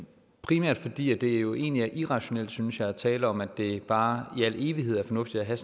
primært fordi det jo egentlig er irrationelt synes jeg at tale om at det bare i al evighed er fornuftigt at have